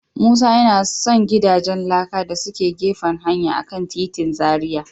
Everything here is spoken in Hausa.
Musa yana son gidajen laka da suke gefen hanya a kan titin Zaria.